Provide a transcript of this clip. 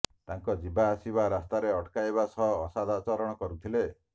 ତାଙ୍କ ଯିବା ଆସିବା ରାସ୍ତାରେ ଅଟକାଇବା ସହ ଅସଦାଚରଣ କରୁଥିଲେ